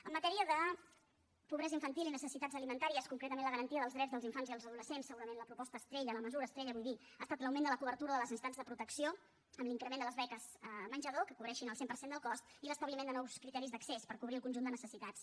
en matèria de pobresa infantil i necessitats alimentàries concretament la garantia dels drets dels infants i els adolescents segurament la proposta estrella la mesura estrella vull dir ha estat l’augment de la cobertura de les necessitats de protecció amb l’increment de les beques menjador que cobreixin el cent per cent del cost i l’establiment de nous criteris d’accés per cobrir el conjunt de necessitats